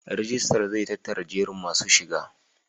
Rijistar zai tattara jerin masu shiga.